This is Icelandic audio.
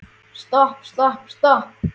Stopp, stopp, stopp.